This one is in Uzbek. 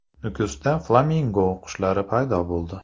Nukusda flamingo qushlari paydo bo‘ldi.